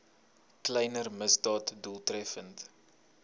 kleiner misdade doeltreffend